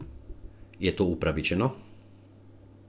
Je to upravičeno?